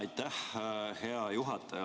Aitäh, hea juhataja!